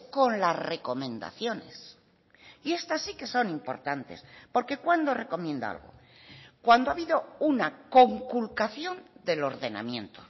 con las recomendaciones y estas sí que son importantes porque cuándo recomienda algo cuando ha habido una conculcación del ordenamiento